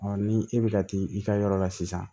ni e bɛ ka t'i ka yɔrɔ la sisan